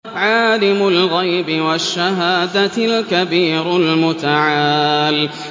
عَالِمُ الْغَيْبِ وَالشَّهَادَةِ الْكَبِيرُ الْمُتَعَالِ